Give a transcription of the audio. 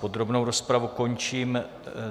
Podrobnou rozpravu končím.